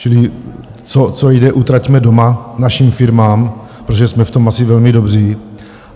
Čili co jde, utraťme doma, našim firmám, protože jsme v tom asi velmi dobří.